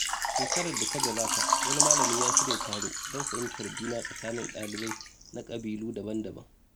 Shekarar da ta gabata, wani malami ya shirya taro don fahimtar juna tsakanin dalibai na ƙabilu daban-daban.